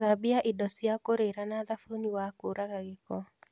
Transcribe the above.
Thambia indo cia kũrĩra na thabuni wa kũraga gĩĩko